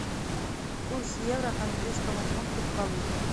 курс евро к английскому фунту в калуге